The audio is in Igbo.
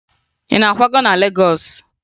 Ị na-akwaga na Legọọsụ?